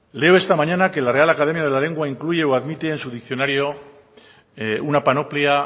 leo esta mañana que la real academia de la lengua incluye o admite en su diccionario una panoplia